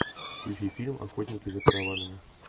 включи фильм охотники за караванами